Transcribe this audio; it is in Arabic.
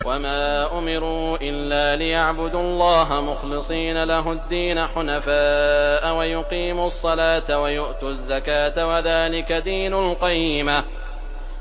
وَمَا أُمِرُوا إِلَّا لِيَعْبُدُوا اللَّهَ مُخْلِصِينَ لَهُ الدِّينَ حُنَفَاءَ وَيُقِيمُوا الصَّلَاةَ وَيُؤْتُوا الزَّكَاةَ ۚ وَذَٰلِكَ دِينُ الْقَيِّمَةِ